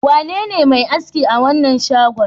Wanene mai aski a wannan shagon?